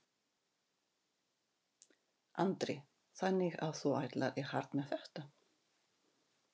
Andri: Þannig að þú ætlar í hart með þetta?